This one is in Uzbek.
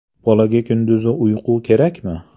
Bolaga kunduzgi uyqu kerakmi?.